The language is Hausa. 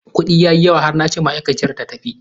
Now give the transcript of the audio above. Kudi ya yi yawa har na ce ma'aikaciyar ta tafi.